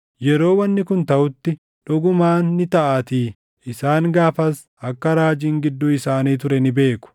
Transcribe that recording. “Yeroo wanni kun taʼutti, dhugumaan ni taʼaatii isaan gaafas akka raajiin gidduu isaanii ture ni beeku.”